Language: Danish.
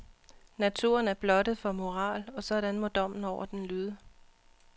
Naturen er blottet for moral, og sådan må dommen over den lyde.